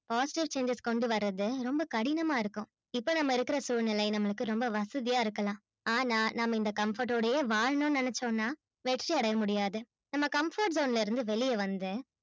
hostel students கொண்டு வரத்து ரொம்ப கடினமா இருக்கும். இப்ப நம்ம இருக்குற சூழ்நிலையில நமக்கு ரொம்ப வசதியா இருக்கலாம். ஆனா, நம்ம இந் comfort ஓடையே வாழணும்னு நெனச்சோம்னா வெற்றி அடையமுடியாது நம்ம comfort zone ல இருந்து வெளிய வந்து